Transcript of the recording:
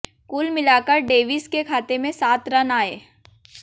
कुल मिलाकर डेविस के खाते में सात रन आए